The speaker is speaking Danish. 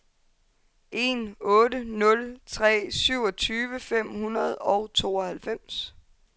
en otte nul tre syvogtyve fem hundrede og tooghalvfems